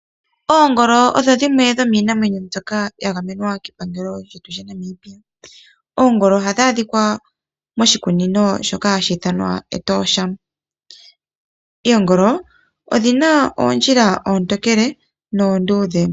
Oongolo odho dhimwe dhomiinamwenyo mbyoka ya gamenwa kepangelo lyoshilongo shetu shaNamibia. Oongolo ohadhi adhikwa moshikunino shoka hashi ithanwa Etosha. Odhina oondjila oontokele noonduudhe.